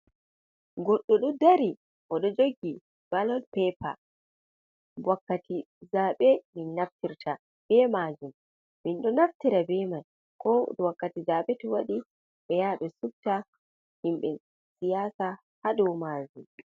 Goɗɗo ɗo dari oɗo joggi ballot pepe, wakkati zaɓe min naftirta be majum, min ɗo naftira be mai ko wakkati zaɓe to waɗi ɓe ya ɓe subta himɓe siyasa ha dow majum.